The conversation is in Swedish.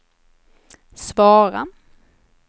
svara